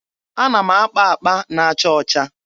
Ana m akpa akpa na-acha ọcha.